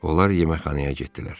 Onlar yeməkxanaya getdilər.